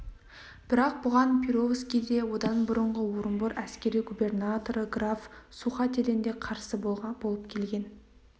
бірақ бұған перовский де одан бұрынғы орынбор әскери губернаторы граф сухателен де қарсы болып келген